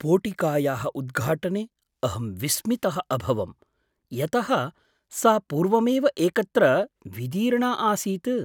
पोटिकायाः उद्घाटने अहं विस्मितः अभवं, यतः सा पूर्वमेव एकत्र विदीर्णा आसीत्!